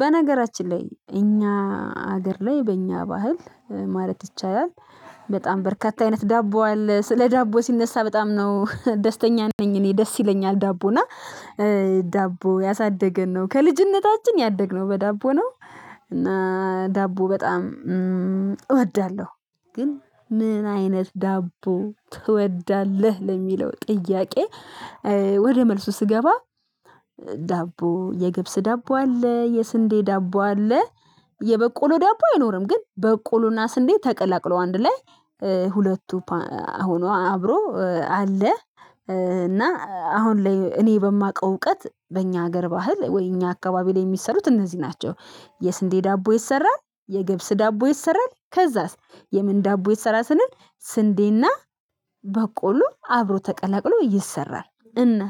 በነገራችን ላይ እኛ ሀገር ላይ በእኛ ባህል ማለት ይቻላል። በጣም በርካታ አይነት ዳቦ አለ ስለ ዳቦ ሲነሳ በጣም ነው ደስተኛ ነኝ እኔ ደስ ይለኛል ዳቦና ዳቦ ያሳደገን ነው ከልጅነታችን ያደግነው በዳቦ ነው እና ዳቦ በጣም እወዳለሁ ግን ምን አይነት ዳቦ ትወዳለህ ለሚለው ጥያቄ? ወደ መልሱ ስገባ ዳቦ የገብስ ዳቦ አለ የስንዴ ዳቦ አለ። የበቆሎ ዳቦ አይኖርም ግን በቆሎና ስንዴ ተቀላቅሎ አንድ ላይ ሁለቱ አሁኑ አብሮ አለ። እና አሁን ላይ እኔ በማውቀው እውቀት በእኛ ሀገር ባህል ወይ እኛ አካባቢ ላይ የሚሰሩት እነዚህ ናቸው። የስንዴ ዳቦ ይሰራል የግብስ ዳቦ ይሰራል ከዛስ የምን ዳቦ ይሰራል ስንል ስንዴና በቆሉ አብሮ ተቀላቅሎ ይሰራል እና